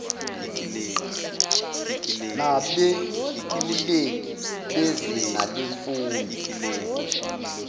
nabeluleki bezinga lemfundo